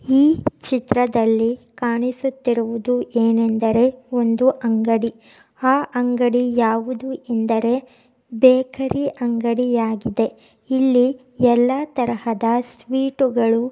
ಈ ಚಿತ್ರದಲ್ಲಿ ಕಾಣಿಸುತ್ತಿರುವುದು ಏನೆಂದರೆ ಒಂದು ಅಂಗಡಿ. ಆ ಅಂಗಡಿ ಯಾವುದು ಎಂದರೆ ಬೇಕರಿ ಅಂಗಡಿಯಾಗಿದೆ. ಇಲ್ಲಿ ಎಲ್ಲ ತರಹದ ಸ್ವೀಟ್ ಗಳು--